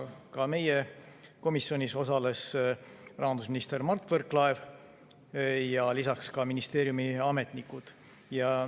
Ka meie komisjonis osalesid rahandusminister Mart Võrklaev ja teised ministeeriumi ametnikud.